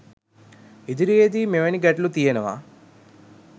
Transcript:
ඉදිරියේදී මෙවැනි ගැටලු තියනවා